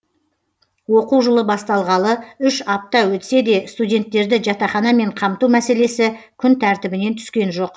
оқу жылы басталғалы үш апта өтсе де студенттерді жатақханамен қамту мәселесі күн тәртібінен түскен жоқ